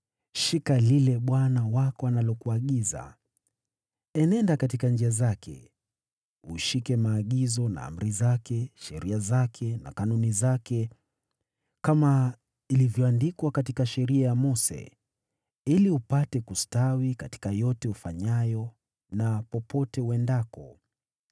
shika lile Bwana Mungu wako analokuagiza: Enenda katika njia zake, ushike maagizo na amri zake, sheria zake na kanuni zake, kama ilivyoandikwa katika Sheria ya Mose, ili upate kustawi katika yote ufanyayo na popote uendako,